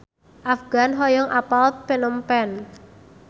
Afgan hoyong apal Phnom Penh